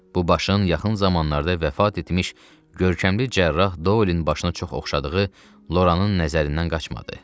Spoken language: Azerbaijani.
Bu başın yaxın zamanlarda vəfat etmiş görkəmli cərrah Dolin başına çox oxşadığı Loranın nəzərindən qaçmadı.